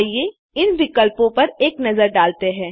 आइए इन विकल्पो पर एक नज़र डालते हैं